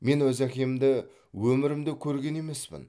мен өз әкемді өмірімде көрген емеспін